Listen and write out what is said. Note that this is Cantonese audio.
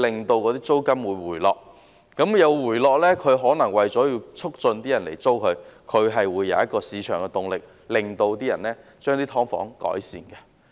當租金回落時，業主為了促使更多人租住，便會有市場動力，令他們對"劏房"作出改善。